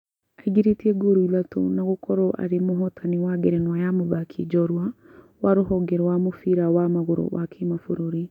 Aingĩrĩtie ngolu ithatũ na gũkorwo arĩ mũhotani wa ngerenwa ya mũthaki njorua wa rũhonge rwa mũbira wa magũrũ wa kĩmabũrũri